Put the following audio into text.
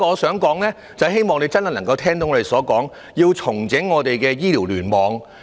此外，我希望局長能聽取我們的意見，重整醫院聯網。